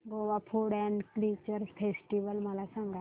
Goa food and culture festival मला सांगा